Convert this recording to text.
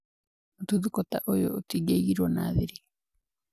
Mũtuthũko ta uyu ũtingiaigirwe na thiri